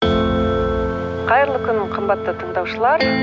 қайырлы күн қымбатты тыңдаушылар